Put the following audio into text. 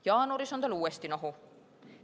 Jaanuaris on tal uuesti nohu.